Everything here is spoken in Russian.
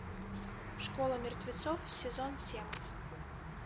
школа мертвецов сезон семь